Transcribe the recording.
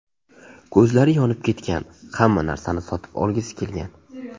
Ko‘zlari yonib ketgan, hamma narsani sotib olgisi kelgan.